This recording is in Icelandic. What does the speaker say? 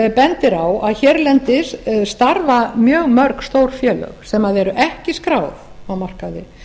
bendir á að hérlendis starfa mjög mörg stór félög sem ekki eru skráð á markaði